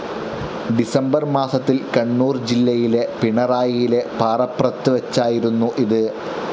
December മാസത്തിൽ കണ്ണൂർ ജില്ലയിലെ പിണറായിയിലെ പാറപ്രത്ത് വച്ചായിരുന്നു ഇത്.